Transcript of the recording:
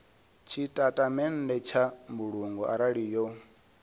tshitatamennde tsha mbulungo arali yo